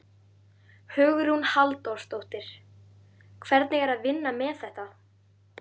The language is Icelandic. Hugrún Halldórsdóttir: Hvernig er að vinna með þetta?